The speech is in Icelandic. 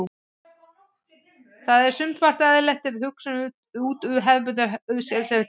Það er sumpart eðlilegt ef við hugsum út hefðbundna hlutverkaskiptingu kynjanna.